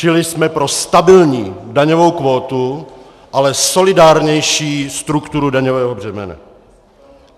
Čili jsme pro stabilní daňovou kvótu, ale solidárnější strukturu daňového břemene.